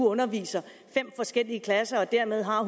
underviser fem forskellige klasser og dermed har